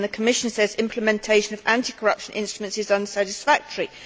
The Commission says implementation of anti corruption instruments is unsatisfactory.